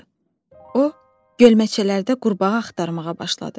O gölməçələrdə qurbağa axtarmağa başladı.